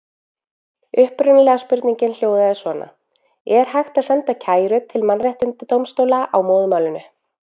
Upprunalega spurningin hljóðaði svona: Er hægt að senda kæru til mannréttindadómstóla á móðurmálinu?